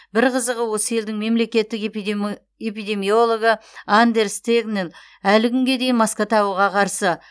бір қызығы осы елдің мемлекеттік эпидемиологы андерс тегнел әлі күнге дейін маска тағуға қарсы